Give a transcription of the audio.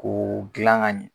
K'o dilan kan ɲɛ